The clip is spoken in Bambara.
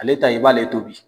Ale ta i b'ale tobi.